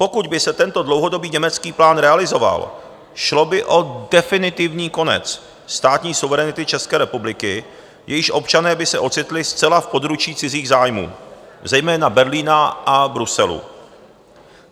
Pokud by se tento dlouhodobý německý plán realizoval, šlo by o definitivní konec státní suverenity České republiky, jejíž občané by se ocitli zcela v područí cizích zájmů, zejména Berlína a Bruselu.